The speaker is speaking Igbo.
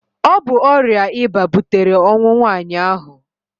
Ọ bụ ọrịa ịba butere ọnwụ nwaanyị ahụ.